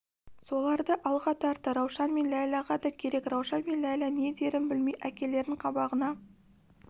соларды алға тартты раушан мен ләйләға да керек раушан мен ләйлә не дерін білмей әкелерінің қабағына